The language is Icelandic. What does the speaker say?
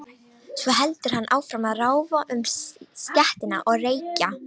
Svo heldur hann áfram að ráfa um stéttina og reykja.